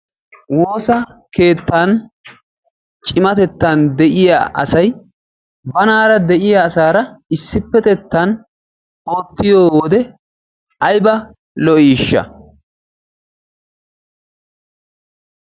Woossa keettaan cimmatettan de'iya asay banaara de'iya asaara issippetettan oottiyo wode aybba lo"isha